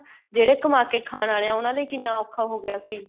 ਜਿਹੜੇ ਕਮਾ ਕੇ ਖਾਣ ਵਾਲੇ ਏ ਉਹਨਾ ਲਈ ਕਿੰਨਾ ਔਖਾ ਹੋ ਗਿਆ ਸੀ